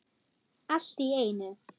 Allt í einu.